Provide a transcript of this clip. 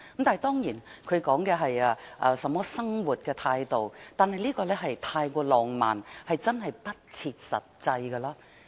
當然，他說的是生活態度，但的確太過浪漫，不切實際。